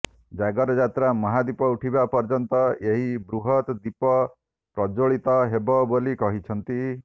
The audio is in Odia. ଜାଗର ଯାତ୍ରା ମହାଦ୍ୱୀପ ଉଠିବା ପର୍ଯ୍ୟନ୍ତ ଏହି ବୃହତ ଦ୍ୱୀପ ପ୍ରଜ୍ୱଳୀତ ହେବ ବୋଲି କହିଛନ୍ତି